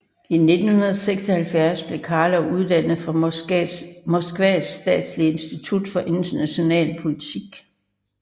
I 1976 blev Karlov uddannet fra Moskvas statslige institut for international politik